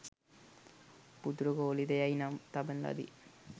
පුතුට කෝලිත යැයි නම් තබන ලදී.